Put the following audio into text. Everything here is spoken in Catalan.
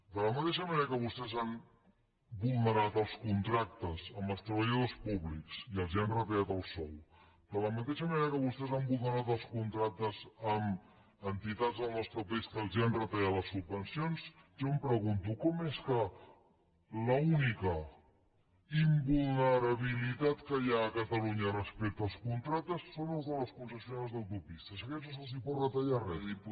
de la mateixa manera que vostès han vulnerat els contractes amb els treballadors públics i els han retallat el sou de la mateixa manera que vostès han vulnerat els contractes amb entitats del nostre país que els han retallat les subvencions jo em pregunto com és que l’única invulnerabilitat que hi ha a catalunya respecte als contractes és la de les concessionàries d’autopistes a aquests no se’ls pot retallar res